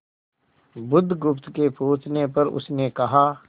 बुधगुप्त के पूछने पर उसने कहा